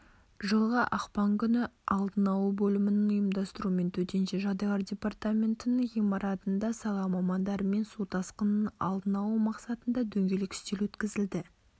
жылғы ақпан күні алдын алу бөлімінің ұйымдастыруымен төтенше жағдайлар департаментінің ғимаратында сала мамандарымен су тасқынын алдын алу мақсатында дөңгелек үстел өткізілді